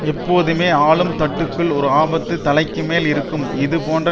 எப்போதுமே ஆளும் தட்டுக்குள் ஒரு ஆபத்து தலைக்குமேல் இருக்கும் இது போன்ற